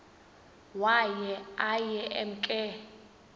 waye aye emke